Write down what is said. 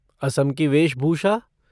असम की वेशभूषा?